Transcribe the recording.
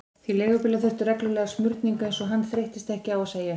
Því leigubílar þurftu reglulega smurningu, eins og hann þreyttist ekki á að segja henni.